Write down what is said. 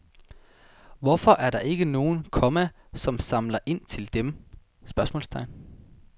Hvorfor er der ikke nogen, komma som samler ind til dem? spørgsmålstegn